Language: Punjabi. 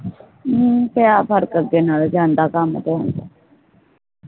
ਹਮ ਪਿਆ ਫਰਕ ਅੱਗੇ ਨਾਲੋਂ ਤਾ ਜਾਂਦਾ ਕਾਮ ਤੇ ਹੁਣ